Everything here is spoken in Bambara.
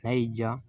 N'a y'i diya